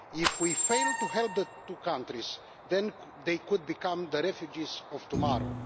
If we fail to help the two countries, then they could become the refugees of tomorrow.